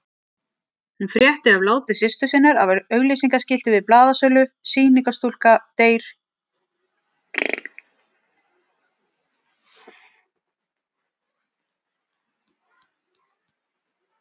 Hún frétti af láti systur sinnar af auglýsingaskilti við blaðasölu, SÝNINGARSTÚLKA DEYR Í SÝRUBAÐI.